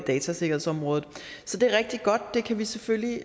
datasikkerhedsområdet så det er rigtig godt vi kan selvfølgelig